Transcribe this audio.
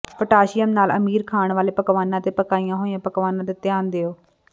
potassium ਨਾਲ ਅਮੀਰ ਖਾਣ ਵਾਲੇ ਪਕਵਾਨਾਂ ਅਤੇ ਪਕਾਈਆਂ ਹੋਈਆਂ ਪਕਵਾਨਾਂ ਤੇ ਧਿਆਨ ਦਿਓ